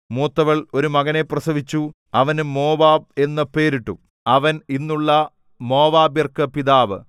മൂത്തവൾ ഒരു മകനെ പ്രസവിച്ചു അവന് മോവാബ് എന്നു പേരിട്ടു അവൻ ഇന്നുള്ള മോവാബ്യർക്ക് പിതാവ്